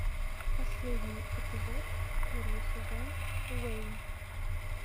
последний эпизод первый сезон уэйн